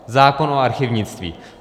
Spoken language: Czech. Zákon o archivnictví.